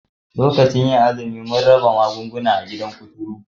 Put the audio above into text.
Lokacin azumi mun raba magunguna a gidan kuturu